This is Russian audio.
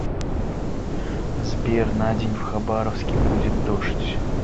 сбер на день в хабаровске будет дождь